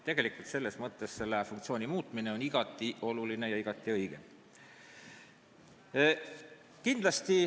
Nii et selle funktsiooni muutmine on igati oluline ja õige.